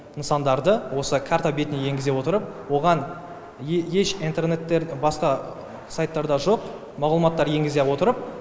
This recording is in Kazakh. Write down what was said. нысандарды осы карта бетіне енгізе отырып оған еш интернеттер басқа сайттарда жоқ мағлұматтар енгізе отырып